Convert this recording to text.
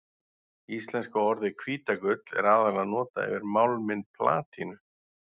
Íslenska orðið hvítagull er aðallega notað yfir málminn platínu.